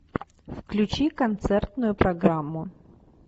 включи концертную программу